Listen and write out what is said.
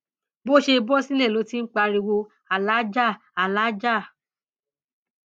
bó ṣe bọ sílẹ ló ti ń pariwo aláàjà alàájá